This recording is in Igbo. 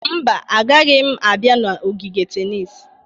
Mba, agaghị m abịa n'ogige tennis.